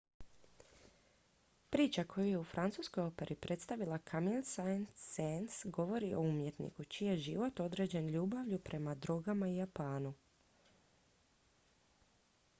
priča koju je u francuskoj operi predstavila camille saint-saens govori o umjetniku čiji je život određen ljubavlju prema drogama i japanu